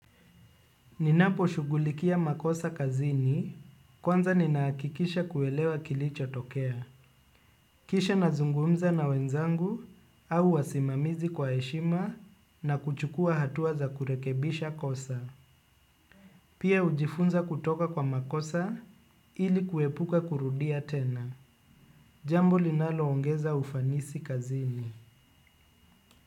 Ninapo shughulikia makosa kazini, kwanza ninahakikisha kuelewa kilicho tokea. Kisha nazungumza na wenzangu au wasimamizi kwa eshima na kuchukua hatua za kurekebisha kosa. Pia hujifunza kutoka kwa makosa ili kuepuka kurudia tena. Jambo linalo ongeza ufanisi kazini.